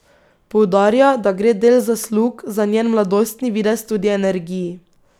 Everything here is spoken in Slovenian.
Poudarja, da gre del zaslug za njen mladostni videz tudi energiji.